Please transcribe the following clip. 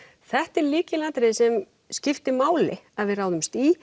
þetta er lykilatriði sem skiptir máli að við ráðumst í